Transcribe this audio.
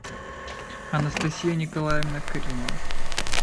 анастасия николаевна каримова